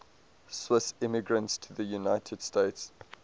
swiss immigrants to the united states